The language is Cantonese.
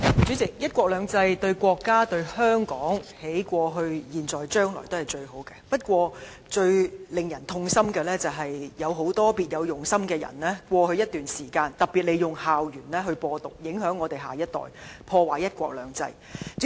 主席，"一國兩制"對國家、對香港過去、現在、將來都是最好的安排，最令人痛心的，是有很多別有用心的人在過去一段時間利用校園"播獨"，影響我們的下一代，破壞"一國兩制"。